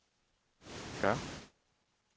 gør